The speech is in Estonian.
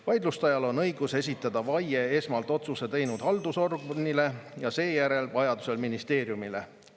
Vaidluste ajal on õigus esitada vaie esmalt otsuse teinud haldusorganile ja seejärel vajadusel ministeeriumile.